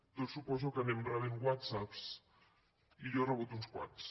tots suposo que anem rebent whatsapps i jo n’he rebut uns quants